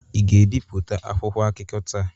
Ị ga-ebipụta akwụkwọ akụkọ taa?